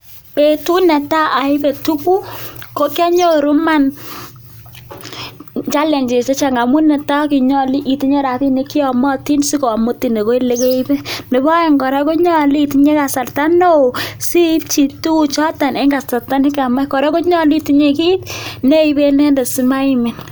Betut netaa oibee tukuk ko kionyoru imaan challenges chechang amun netaa kokinyolu itinye rabinik cheyomotin sikomutin akoii elekeibe, nebo oeng koraa ko nyolu itinye kasarta neoo siibchi tukuchoton en kasarta nekamach kora konyolu itinye kiit neiben inendet simaimin.